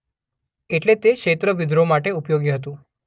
એટલે તે ક્ષેત્ર વિદ્રોહ માટે ઉપયોગી હતું.